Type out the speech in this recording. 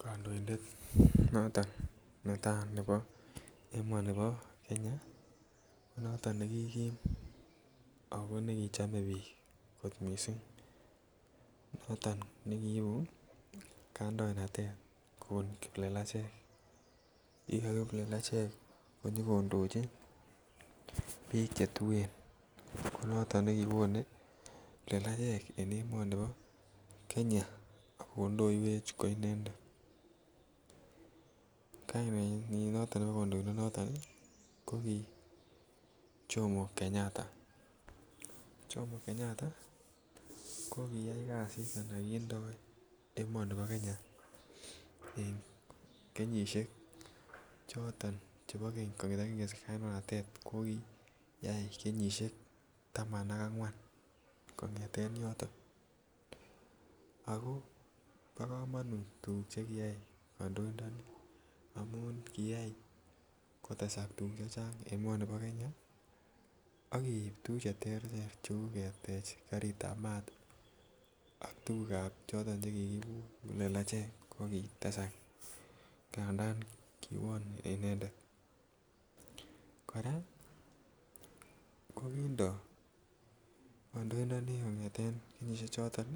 kondoindet noton netaa nebo emoni bo Kenya ko noton nekim ako nekichome biik kot missing noton ne kiibu kandoinatet kobun kiplelachek kibwaa kiplelachek konyo kondoji biik che tuen ko noton ne kiwone kiplelachek en emoni bo Kenya ak kodoiywech ko inendet kainenyin noton nebo kondoido noton koki Komo Kenyatta. Komo Kenyatta ko kiyai kazit ana kindoe emoni bo Kenya en kenyisiek choton chebo keny kongeten kingesich kandoinatet kokiyai kenyisiek taman ak angwan kongeten yoton ako bo komonut tuguk che kiyay kondoindoni amun kiyay kotesak tuguk chechang en emoni bo Kenya ak keib tuguk che terter che uu ketej garitab maat ak tuguk choton che kiibu kiplelachek ko kitesak ngandan kiwon inendet. Koraa kokindo kondoindoni kongeten kenyisiek choton